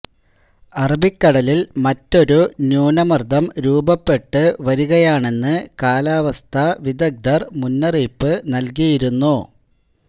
അറബിക്കടലില് മറ്റൊരു ന്യൂനമര്ദ്ദം രൂപപ്പെട്ട് വരുകയാണെന്ന് കാലാവസ്ഥാ വിദഗ്ദ്ധര് മുന്നറിയിപ്പ് നല്കിയിരുന്നു